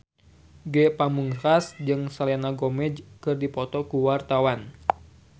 Ge Pamungkas jeung Selena Gomez keur dipoto ku wartawan